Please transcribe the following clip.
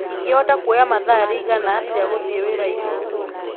ingĩhota kũoya mathaa riĩgana atĩa gũthiĩ wira-inĩ